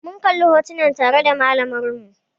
Mun kalla hotunan tare da malamar mu